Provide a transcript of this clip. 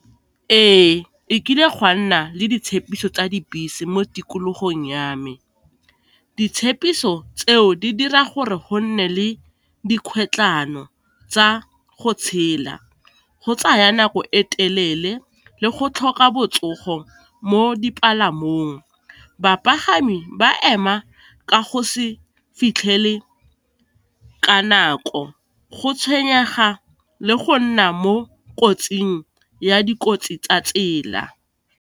Ee, e kile gwa nna le ditshepiso tsa dibese mo tikologong ya me, ditshepiso tseo di dira gore go nne le dikgwetlano tsa go tshela, go tsaya nako e telele le go tlhoka botsogo mo dipalamong. Bapagami ba ema ka go se fitlhele ka nako, go tshwenyega, le go nna mo kotsing ya dikotsi tsa tsela.